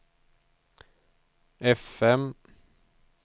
fm